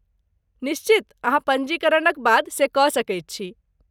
निश्चित, अहाँ पञ्जीकरणक बाद से कऽ सकैत छी।